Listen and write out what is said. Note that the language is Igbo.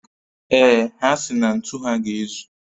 Ee, ha si na ntu ha ga-ezu